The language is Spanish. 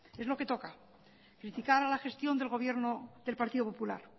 es lo que toca criticar la gestión del gobierno del partido popular